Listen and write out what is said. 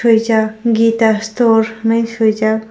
kisa geeta store henai swijaak.